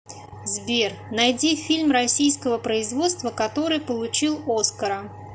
сбер найди фильм российского производства который получил оскара